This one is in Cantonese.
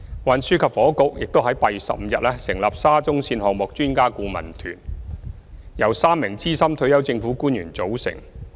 運輸及房屋局亦於8月15日成立沙中線項目專家顧問團，由3名資深退休政府官員組成。